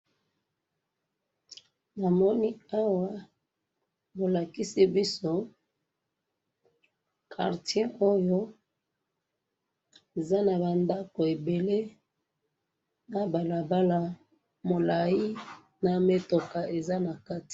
namoni awa bo lakisi biso quartier oyo eza na ndako ebele, na balabala molai na metoka eza nakati